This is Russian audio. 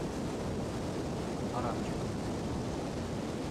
арамчиком